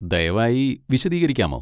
ദയവായി വിശദീകരിക്കാമോ?